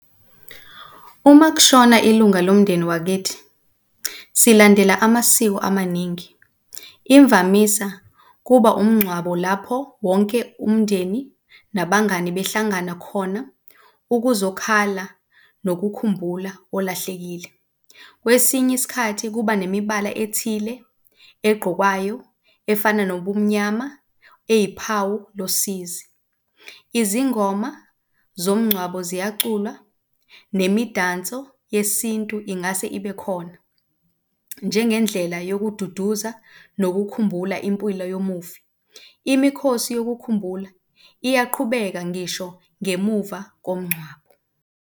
Uma kushona ilunga lomndeni wakithi silandela amasiko amaningi, imvamisa kuba umngcwabo lapho wonke umndeni nabangani behlangana khona ukuzokhala, nokukhumbula olahlekile. Kwesinye isikhathi kuba nemibala ethile eqgokwayo efana nobumnyama, eyiphawu losizi. Izingoma zomngcwabo ziyaculwa, nemidanso yesintu ingase ibe khona njengendlela yokududuza nokukhumbula impilo yomufi. Imikhosi yokukhumbula iyaqhubeka ngisho ngemuva komngcwabo.